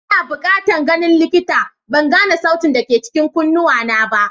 Ina bukatan ganin likita, ban gane sautin da ke cikin kunnuwana ba.